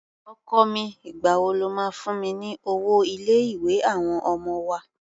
Ọkọ mi, ìgbà wo lo máa fún mi ní owó ilé-ìwé àwọn ọmọ wa?